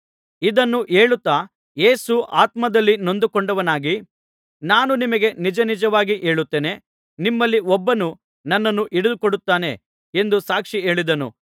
ಇದನ್ನು ಹೇಳುತ್ತಾ ಯೇಸು ಆತ್ಮದಲ್ಲಿ ನೊಂದುಕೊಂಡವನಾಗಿ ನಾನು ನಿಮಗೆ ನಿಜನಿಜವಾಗಿ ಹೇಳುತ್ತೇನೆ ನಿಮ್ಮಲ್ಲಿ ಒಬ್ಬನು ನನ್ನನ್ನು ಹಿಡಿದು ಕೊಡುತ್ತಾನೆ ಎಂದು ಸಾಕ್ಷಿ ಹೇಳಿದನು